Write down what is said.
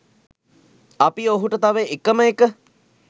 අපි ඔහුට තව එකම එක